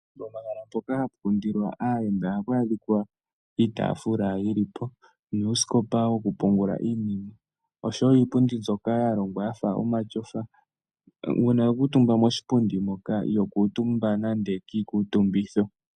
Pomahala mpoka hapu kundilwa aayenda ohapu adhika iitaafula yili po, nuusikopa wokupungula iinima, noshowo iipundi mbyoka yalongwa yafa omatyofa. Uuna wa kuuntumba koshipundi hoka, Iho kuuntumba kiikuuntumbitho.